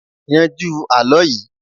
yanjú àlọ yìí